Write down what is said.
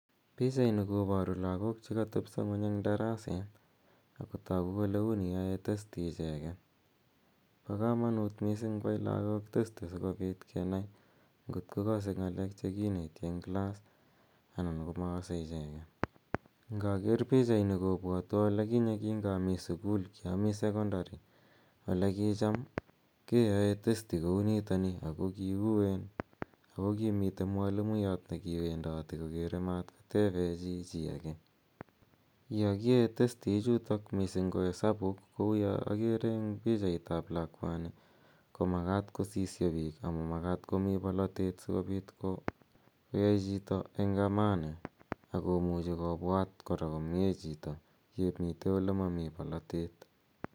Pichaininkoparu lagook che katepisa ng'uny eng' daraseet ago tagu kole uni ae testi icheget. Pa kamanuut missing' koai lagook testi si kopoot ke nai ngot ko kase ng'alek che kineti eng' class anan ko makase icheget. Nga ker pichanini kopwatwa ole kinye kingami sukul, kiamo sekondari, ole kicham keae testi kou nitoni ako kiuen, ako kimitei mwalimuyat ne kiwendati kokere matkotepei chi chi age. Ya kiae testi ichutok, missing ko hesabuuk, kou ya agere eng' pichait ap lakwani ko makat kosiyo piik ama makat komi polotet si kopit koyai chito eng' amani agot muchi kora kopwaat komye chito ye mitei ole mami polotet.